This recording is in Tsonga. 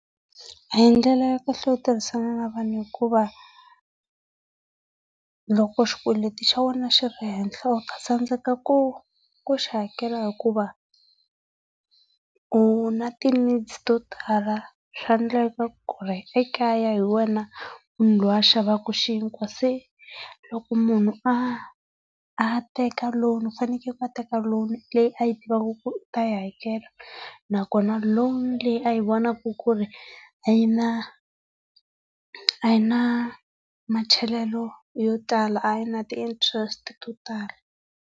A hi ndlela ya kahle yo tirhisana na vanhu hikuva loko xikweleti xa wena xi ri henhla u ta tsandzeka ku ku xi hakela hikuva u na ti needs to tala. Swaendleka ku ri ekaya hi wena munhu loyi a xavaka xinkwa se loko munhu a a teka loan ku fanekele a teka loan leyi a tivaka ku u ta yi hakela nakona loan leyi a yi vonaka ku ri a yi na a yi na yo tala a yina ti interest to tala.